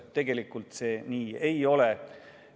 Tegelikult see nii ei ole.